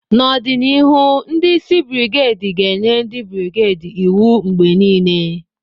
N'ọdịnihu, ndi isi brigedi ga-enye ndị brigedi iwu mgbe niile.